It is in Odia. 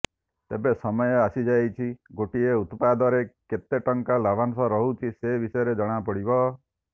ଏବେ ସମୟ ଆସିଯାଇଛି ଗୋଟିଏ ଉତ୍ପାଦରେ କେତେ ଟଙ୍କା ଲାଭାଂଶ ରହୁଛି ସେ ବିଷୟରେ ଜଣା ପଡିବ